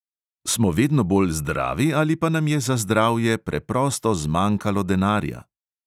Smo vedno bolj zdravi, ali pa nam je za zdravje preprosto zmanjkalo denarja?